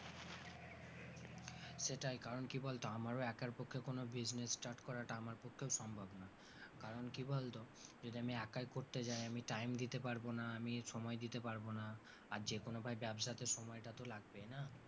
সেটাই কারণ কি বলতো আমারও একার পক্ষে কোন business start করাটা আমার পক্ষেও সম্ভব না, কারণ কি বলতো যদি আমি একাই করতে যাই আমি time দিতে পারবো না আমি সময় দিতে পারবো না, আর যেকোনো ভাই ব্যবসাতে সময়টা তো লাগবেই না?